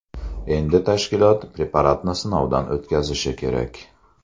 Endi tashkilot preparatni sinovdan o‘tkazishi kerak.